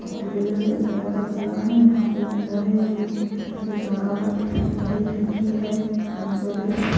एक दरवाजा खुला है यहां पे एक अंदर है जो अंदर से जा रहा है बड़ी खिड़की है कांच वाले--